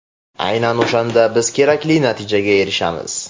Aynan o‘shanda biz kerakli natijaga erishamiz.